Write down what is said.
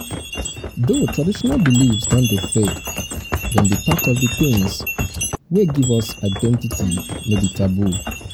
though traditional beliefs don dey fade dem be part of di things wey di things wey give us identity no be taboo